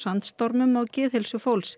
sandstormum á geðheilsu fólks